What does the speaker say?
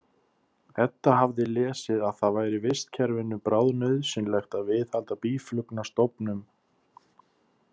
Edda hafði lesið að það væri vistkerfinu bráðnauðsynlegt að viðhalda býflugnastofnum.